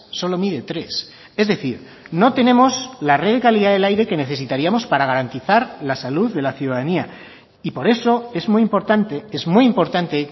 solo mide tres es decir no tenemos la red de calidad del aire que necesitaríamos para garantizar la salud de la ciudadanía y por eso es muy importante es muy importante